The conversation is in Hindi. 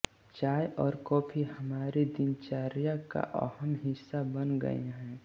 चाय और कॉफी हमारी दिनचर्या का अहम हिस्सा बन गए हैं